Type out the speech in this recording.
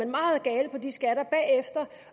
meget gal på de skatter